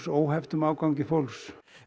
óhefts aðgangs fólks